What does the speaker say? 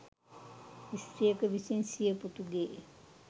ස්ත්‍රියක විසින් සිය පුතුගේ